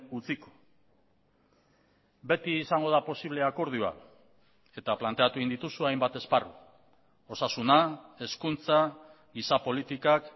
utziko beti izango da posible akordioa eta planteatu egin dituzu hainbat esparru osasuna hezkuntza giza politikak